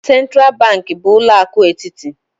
Sentral banki bu ulo akụ etiti.